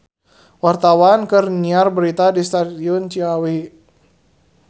Wartawan keur nyiar berita di Stasiun Ciawi